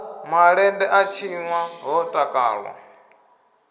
malende a tshinwa ho takalwa